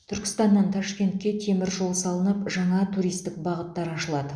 түркістаннан ташкентке темір жол салынып жаңа туристік бағыттар ашылады